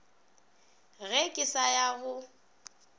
ge ke sa ya go